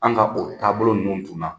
An ka o taabolo nunnu tun na.